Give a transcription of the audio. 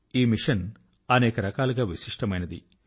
2 ఈ మిషన్ అనేక రకాలుగా విశిష్టమైనది